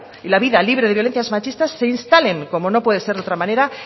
y la vida libre de violencias machistas se instalen como no puede ser de otra manera